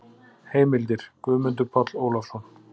Heimildir: Guðmundur Páll Ólafsson.